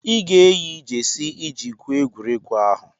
Ị ga-eyi jesi iji gwuo egwuregwu ahụ!